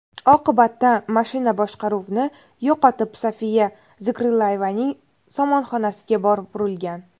Oqibatda mashina boshqaruvni yo‘qotib, Sofiya Zikrillayevaning somonxonasiga borib urilgan.